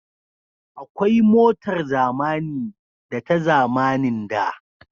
Akwai motar zamani da ta zamanin da